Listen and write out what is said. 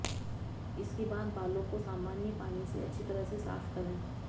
इसके बाद बालों को सामान्य पानी से अच्छी तरह से साफ करें